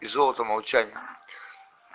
и золото молчание